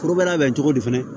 Foroba bɛn cogo di fɛnɛ